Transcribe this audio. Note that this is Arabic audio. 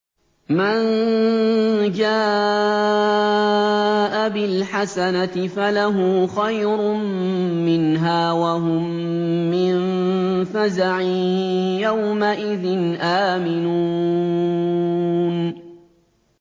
مَن جَاءَ بِالْحَسَنَةِ فَلَهُ خَيْرٌ مِّنْهَا وَهُم مِّن فَزَعٍ يَوْمَئِذٍ آمِنُونَ